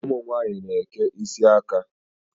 Ụmụ nwaanyị na-eke isi aka.